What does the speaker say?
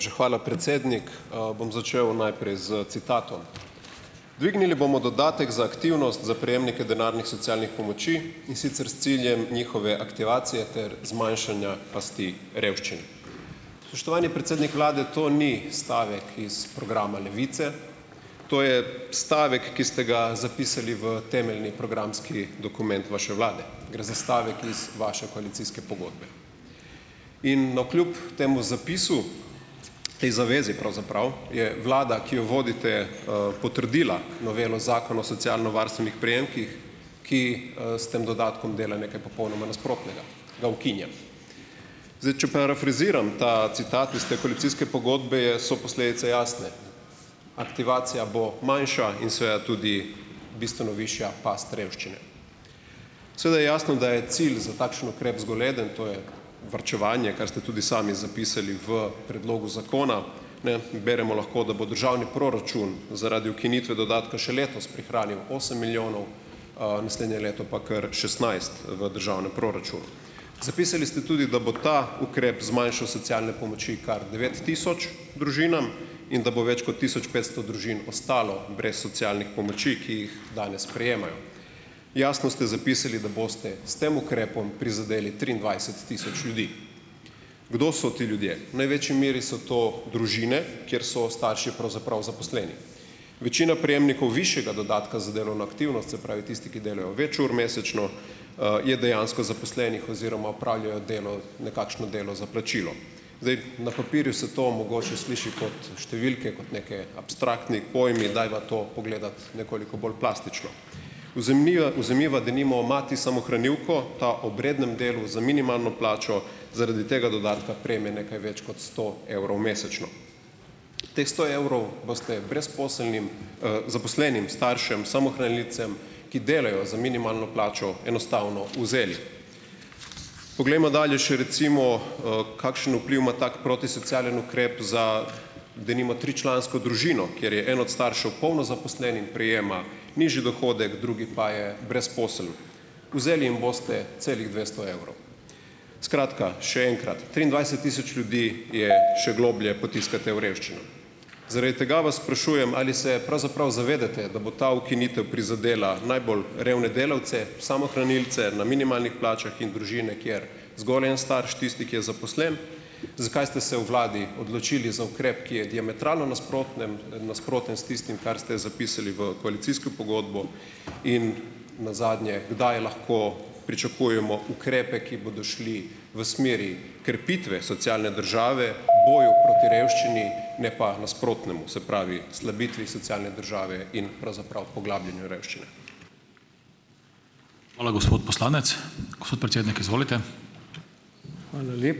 Najlepša hvala, predsednik. Bom začel najprej s citatom. "Dvignili bomo dodatek za aktivnost za prejemnike denarnih socialnih pomoči, in sicer s ciljem njihove aktivacije ter zmanjšanja pasti revščine." Spoštovani predsednik vlade! To ni stavek iz programa Levice, to je stavek, ki ste ga zapisali v temeljni programski dokument vaše vlade. Gre za stavek iz vaše koalicijske pogodbe. In navkljub temu zapisu, te zaveze pravzaprav, je vlada, ki jo vodite, potrdila novelo Zakona o socialno varstvenih prejemkih, ki, s tem dodatkom dela nekaj popolnoma nasprotnega, ga ukinja. Zdaj, če parafraziram ta citat iz te koalicijske pogodbe, je so posledice jasne. Aktivacija bo manjša in seveda tudi bistveno višja past revščine. Seveda je jasno, da je cilj za takšen ukrep zgolj eden, to je varčevanje, kar ste tudi sami zapisali v predlogu zakona. Ne. Beremo lahko, da bo državni proračun zaradi ukinitve dodatka še letos prihranil osem milijonov, naslednje leto pa kar šestnajst v državnem proračunu. Zapisali ste tudi, da bo ta ukrep zmanjšal socialne pomoči kar devet tisoč družinam in da bo več kot tisoč petsto družin ostalo brez socialnih pomoči, ki jih danes prejemajo. Jasno ste zapisali, da boste s tem ukrepom prizadeli triindvajset tisoč ljudi. Kdo so ti ljudje? Največji meri so to družine, kjer so starši pravzaprav zaposleni. Večina prejemnikov višjega dodatka za delovno aktivnost, se pravi, tisti, ki delajo več ur mesečno, je dejansko zaposlenih oziroma opravljajo delo, nekakšno delo za plačilo. Zdaj, na papirju se to mogoče sliši kot številke, kot neki abstraktni pojmi, dajva to pogledati nekoliko bolj plastično. Uzemniva vzemiva denimo mati samohranilko, ta ob rednem delu za minimalno plačo zaradi tega dodatka prejme nekaj več kot sto evrov mesečno. Teh sto evrov boste brezposelnim, zaposlenim staršem samohranilcem, ki delajo za minimalno plačo, enostavno vzeli. Poglejmo dalje še recimo, kakšen vpliv ima tak protisocialen ukrep za denimo tričlansko družino, kjer je en od staršev polno zaposlen in prejema nižji dohodek, drugi pa je brezposeln. Vzeli jim boste celih dvesto evrov. Skratka, še enkrat, triindvajset tisoč ljudi je še globlje potiskate v revščino. Zaradi tega vas sprašujem, ali se pravzaprav zavedate, da bo ta ukinitev prizadela najbolj revne delavce, samohranilce na minimalnih plačah in družine, kjer zgolj en starš, tisti, ki je zaposlen. Zakaj ste se v vladi odločili za ukrep, ki je diametralno nasprotnem, nasproten s tistim, kar ste zapisali v koalicijsko pogodbo? In nazadnje, kdaj lahko pričakujemo ukrepe, ki bodo šli v smeri krepitve socialne države, boju proti revščini ne pa nasprotnemu, se pravi slabitvi socialne države in pravzaprav poglabljanju revščine.